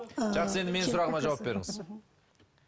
жақсы енді менің сұрағыма жауап беріңіз